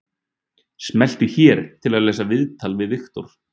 Smelltu hér til að lesa viðtalið við Viktor